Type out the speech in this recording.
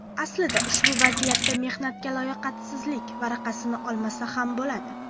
Aslida ushbu vaziyatda mehnatga layoqatsizlik varaqasini olmasa ham bo‘ladi.